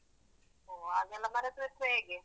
ಓ ಹಾಗೆಲ್ಲ ಮರೆತ್ರೆಸ ಹೇಗೆ?